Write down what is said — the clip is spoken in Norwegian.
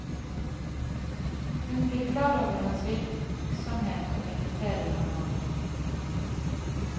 Hun blir klar over hans virksomhet, og inviterer ham over.